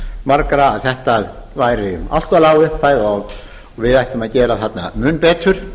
margra að þetta væri allt of lág upphæð og við ættum að gera þarna mun betur